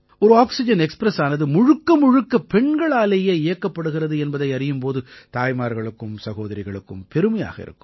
ஒரு ஆக்சிஜன் எக்ஸ்பிரஸானது முழுக்கமுழுக்க பெண்களாலேயே இயக்கப்படுகிறது என்பதை அறியும் போது தாய்மார்களுக்கும் சகோதரிகளுக்கும் பெருமையாக இருக்கும்